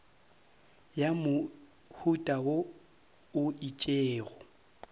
ya mohuta wo o itšego